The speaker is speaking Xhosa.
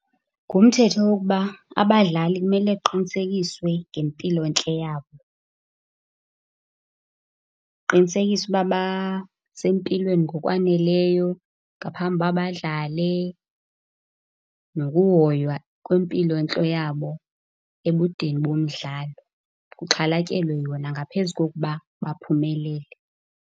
Ngumthetho wokuba abadlali kumele kuqinisekiswe ngempilontle yabo. Kuqinisekiswe ukuba basempilweni ngokwaneleyo ngaphambi uba badlale. Nokuhoywa kwempilontle yabo ebudeni bomdlalo, kuxhalatyelwe yona ngaphezu kokuba baphumelele.